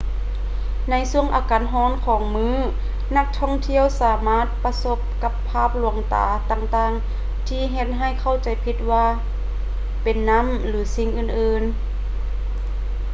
ໃນຊ່ວງອາກາດຮ້ອນຂອງມື້ ນັກທ່ອງທ່ຽວສາມາດປະສົບກັບພາບລວງຕາຕ່າງໆທີ່ເຮັດໃຫ້ເຂົ້າໃຈຜິດວ່າເປັນນ້ຳ ຫຼື ສິ່ງອື່ນໆ